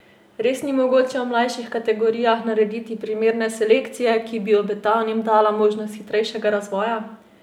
Res ni mogoče v mlajših kategorijah narediti primerne selekcije, ki bi obetavnim dala možnost hitrejšega razvoja?